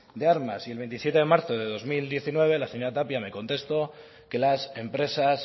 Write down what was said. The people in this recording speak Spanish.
de armas y el veintisiete de marzo del dos mil diecinueve la señora tapia me contestó que las empresas